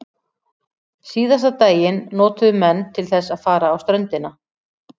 Síðasta daginn notuðu menn til þess að fara á ströndina.